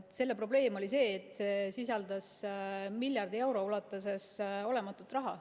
Selle probleem oli see, et see sisaldas miljardi euro ulatuses olematut raha.